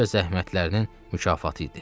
Güyə zəhmətlərinin mükafatı idi.